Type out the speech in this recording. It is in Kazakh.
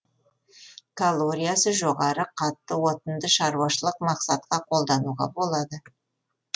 калориясы жоғары қатты отынды шаруашылық мақсатқа қолдануға болады